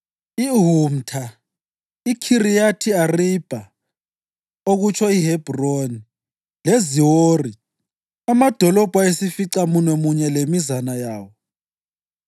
iHumtha, iKhiriyathi Aribha (okutsho iHebhroni) leZiwori, amadolobho ayisificamunwemunye lemizana yawo.